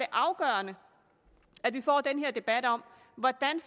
afgørende at vi får den her debat om hvordan